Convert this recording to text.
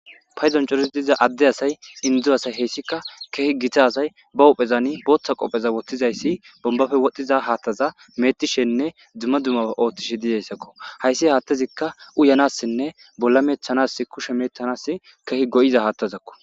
Paydon corattiza adde asay indo asay keehi gita asay ba huphezan bootha qoobe woththi dizaysi bombappe wodhdhiza haaththa meeettishe dizayssanne dumma dummà ootho oothishe dizaysako ,hayssi haaththazi uyanassinne bolla meecetanasi go7iza haaththako.